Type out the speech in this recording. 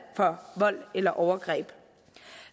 for vold eller overgreb